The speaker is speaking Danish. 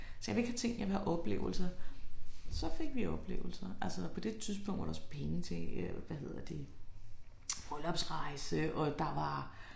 Så jeg vil ikke have ting jeg vil have oplevelser. Så fik vi oplevelser. Altså på det tidspunkt var det også penge til hvad hedder det bryllupsrejse og der var